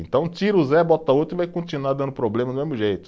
Então tira o Zé, bota outro e vai continuar dando problema do mesmo jeito.